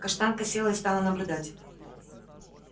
каштанка села и стала наблюдать